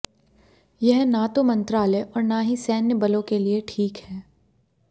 यह न तो मंत्रालय और न ही सैन्य बलों के लिए ठीक है